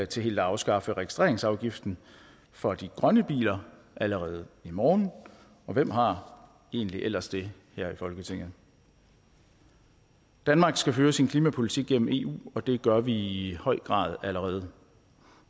til helt at afskaffe registreringsafgiften for de grønne biler allerede i morgen og hvem har egentlig ellers det her i folketinget danmark skal føre sin klimapolitik gennem eu og det gør vi i høj grad allerede